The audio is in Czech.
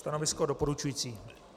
Stanovisko doporučující.